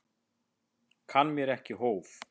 Kann mér ekki hóf.